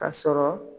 A sɔrɔ